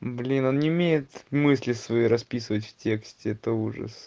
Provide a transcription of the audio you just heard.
блин он не умеет мысли свои расписывать в тексте это ужас